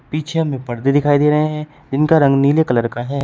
पीछे हमें पर्दे दिखाई दे रहे हैं इनका रंग नीले कलर का है।